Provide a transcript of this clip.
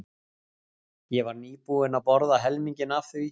Ég var nýbúin að borða helminginn af því.